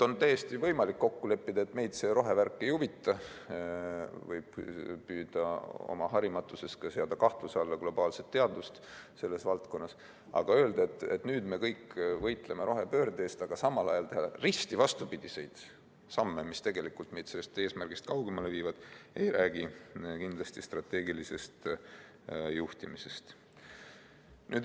On täiesti võimalik kokku leppida, et meid see rohevärk ei huvita, võib püüda oma harimatusest seada kahtluse alla globaalset teadust selles valdkonnas, aga öelda, et nüüd me kõik võitleme rohepöörde eest, ja samal ajal teha risti vastupidiseid samme, mis tegelikult meid sellest eesmärgist kaugemale viivad, ei räägi kindlasti strateegilisest juhtimisest.